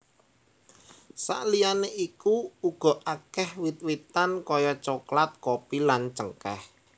Saliyané iku uga akèh wit witan kaya coklat kopi lan cengkèh